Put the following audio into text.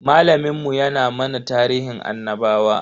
Malamin mu ya na mana tarihin annabawa.